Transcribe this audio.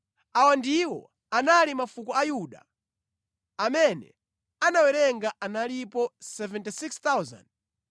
Awa ndiwo anali mafuko a Yuda. Amene anawerenga analipo 76,500.